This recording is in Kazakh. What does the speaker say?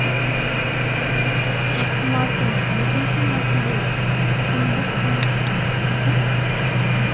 тоқсан алты екінші мәселе күңдік пен көп